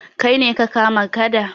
Kai ne ka kama gada?